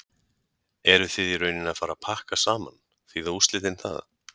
Eruð þið í rauninni að fara pakka saman, þýða úrslitin það?